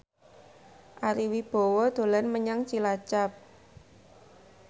Ari Wibowo dolan menyang Cilacap